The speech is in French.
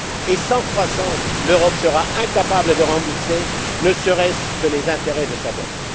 Et sans croissance, l'Europe sera incapable de rembourser, ne serait ce que les intérêts de sa